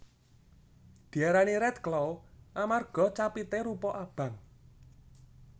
Diarani Redclaw amarga capité rupa abang